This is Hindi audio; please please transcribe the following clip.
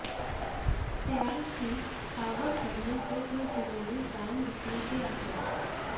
प्याज की आवक बढऩे से कुछ दिनों में दाम घटने के आसार